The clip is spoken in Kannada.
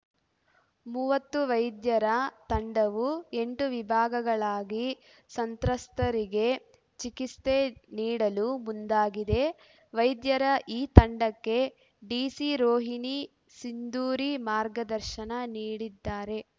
ಮೂವತ್ತು ವೈದ್ಯರ ತಂಡವು ಎಂಟು ವಿಭಾಗಗಳಾಗಿ ಸಂತ್ರಸ್ತರಿಗೆ ಚಿಕಿತ್ಸೆ ನೀಡಲು ಮುಂದಾಗಿದೆ ವೈದ್ಯರ ಈ ತಂಡಕ್ಕೆ ಡಿಸಿ ರೋಹಿಣಿ ಸಿಂಧೂರಿ ಮಾರ್ಗದರ್ಶನ ನೀಡಿದ್ದಾರೆ